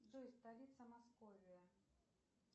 джой столица московии